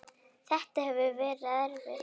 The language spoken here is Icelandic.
Þetta hefur verið erfitt.